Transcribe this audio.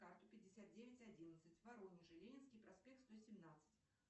карту пятьдесят девять одиннадцать в воронеже ленинский проспект сто семнадцать